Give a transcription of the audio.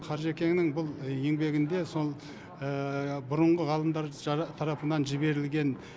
қажекенің бұл еңбегінде сол бұрынғы ғалымдар тарапынан жіберілген